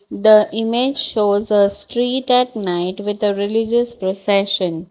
The image shows a street at night with a religious prosession.